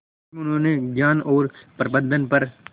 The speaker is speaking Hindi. इसमें उन्होंने ज्ञान और प्रबंधन पर